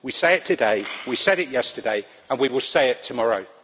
We say it today, we said it yesterday and we will say it tomorrow.